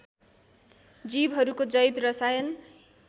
जीवहरूको जैव रसायन